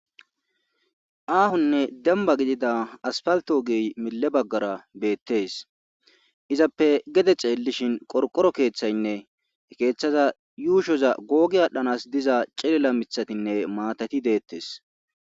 Aahonne demba gidida aspalto gey mille baggara beettes izappe gede ceellishin qorqoro keeththaynne he keeththaza yuushoza googi aadhdhanas diza cilela mithatinne maatati deettes